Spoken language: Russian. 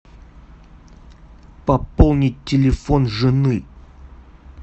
пополнить телефон жены